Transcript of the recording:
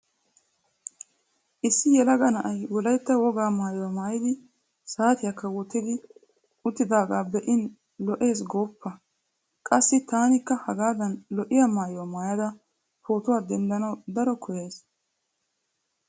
Issi yelaga na'ay wolaytta wogaa maayuwa maayidi saatiyakka wottidi uttidaagaa be'in lo'iis gooppa. Qassi taanikka aagaadan lo'iya maayuwa maayada pootuwa denddanawu daro koyyays.